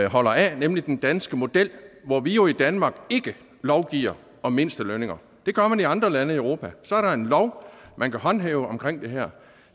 holder af nemlig den danske model hvor vi jo i danmark ikke lovgiver om mindstelønninger det gør man i andre lande i europa så er der en lov man kan håndhæve omkring det her